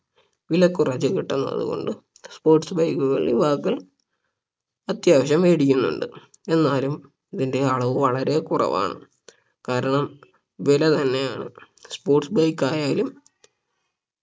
വില കുറച്ച് കിട്ടുന്നത് കൊണ്ട് Sports bike കൾ യുവാക്കൾ അത്യാവശ്യം വേടിക്കുന്നുണ്ട് എന്നാലും ഇതിന്റെ അളവ് വളരെ കുറവാണ് കാരണം വില തന്നെയാണ് sports bike ആയാലും